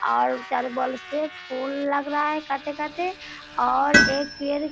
और चारो बगल से फूल लग रहा है काते-काते और एक पेड़ --